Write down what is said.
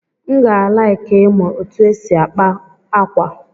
M ga-alaịki ịmụ ụtụ esi akpa ákwà.